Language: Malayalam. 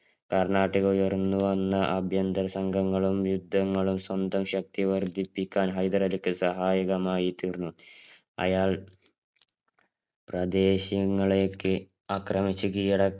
കര്‍ണാട്ടിക്കില്‍ ഉയര്‍ന്നു വന്ന അഭ്യന്തര സംഘങ്ങളും, യുദ്ധങ്ങളും സ്വന്തം ശക്തി വര്‍ദ്ധിപ്പിക്കാന്‍ ഹൈദരലിക്ക് സഹായകമായി തീര്‍ന്നു. അയാള്‍ പ്രദേശങ്ങളെയൊക്കെ ആക്രമിച്ചു കീഴട